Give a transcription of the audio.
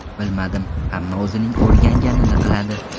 Bilmadim, hamma o‘zining o‘rganganini qiladi.